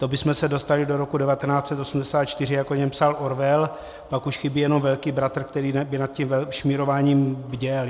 To bychom se dostali do roku 1984, jak o něm psal Orwell, pak už chybí jenom Velký bratr, který by nad tím šmírováním bděl.